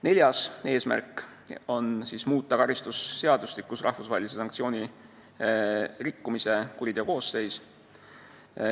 Neljas eesmärk on muuta karistusseadustikus rahvusvahelise sanktsiooni rikkumise kuriteokoosseisu.